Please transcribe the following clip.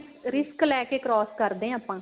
risk risk ਲੈਕੇ cross ਕਰਦੇ ਆ ਆਪਾਂ